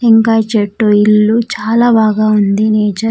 టెంకాయ్ చెట్టు ఇల్లు చాలా బాగా ఉంది నేచర్ .